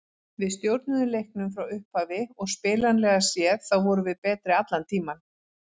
Við stjórnuðum leiknum frá upphafi og spilanlega séð þá vorum við betri allan tímann.